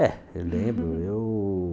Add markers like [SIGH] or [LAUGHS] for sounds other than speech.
É, eu lembro. [LAUGHS] Eu